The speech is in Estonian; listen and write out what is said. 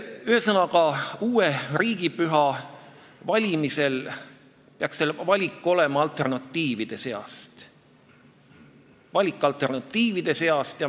Ühesõnaga, uue riigipüha valimisel peaks see valik toimuma alternatiivide seast.